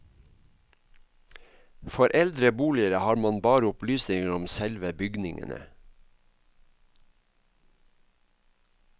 For eldre boliger har man bare opplysninger om selve bygningene.